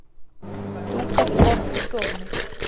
Dúkað borð í stofunni.